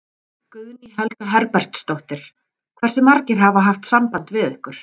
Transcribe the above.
Guðný Helga Herbertsdóttir: Hversu margir hafa haft samband við ykkur?